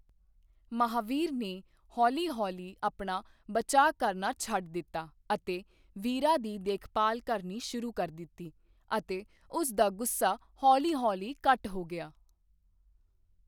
ਮਹਾਵੀਰ ਨੇ ਹੌਲੀ ਹੌਲੀ ਆਪਣਾ ਬਚਾਅ ਕਰਨਾ ਛੱਡ ਦਿੱਤਾ ਅਤੇ ਵੀਰਾ ਦੀ ਦੇਖਭਾਲ ਕਰਨੀ ਸ਼ੁਰੂ ਕਰ ਦਿੱਤੀ, ਅਤੇ ਉਸ ਦਾ ਗੁੱਸਾ ਹੌਲੀ ਹੌਲੀ ਘੱਟ ਹੋ ਗਿਆ।